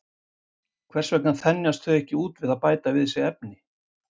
Hvers vegna þenjast þau ekki út við að bæta við sig efni?